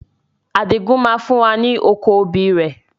Adigun máa fún wa ní oko obì rẹ.